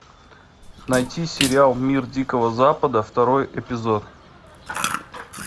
найти сериал мир дикого запада второй эпизод